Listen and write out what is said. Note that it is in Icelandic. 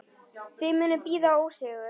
Þið munuð bíða ósigur.